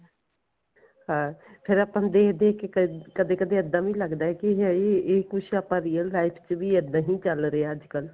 ਹਾਂ ਫੇਰ ਆਪਾਂ ਨੂੰ ਦੇਖ ਦੇਖ ਕੇ ਕਦੇ ਕਦੇ ਇੱਦਾਂ ਵੀ ਲੱਗਦਾ ਕੇ ਹਾਈ ਇਹ ਕੁੱਝ ਆਪਾਂ real life ਚ ਇੱਦਾਂ ਹੀ ਚੱਲ ਰਿਹਾ ਅੱਜਕਲ